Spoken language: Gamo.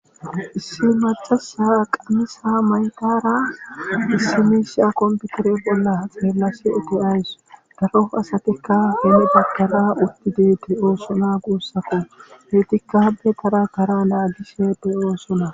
Issi macasi qamisa mayidara issi misha compare bolla xeelashe de'awusi.